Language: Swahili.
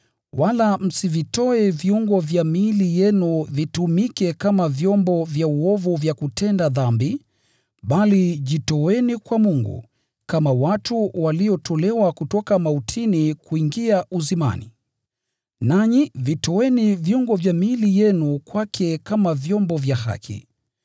Wala msivitoe viungo vya miili yenu vitumike kama vyombo vya uovu vya kutenda dhambi, bali jitoeni kwa Mungu, kama watu waliotolewa kutoka mautini kuingia uzimani. Nanyi vitoeni viungo vya miili yenu kwake kama vyombo vya haki.